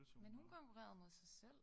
Men hun konkurrerede mod sig selv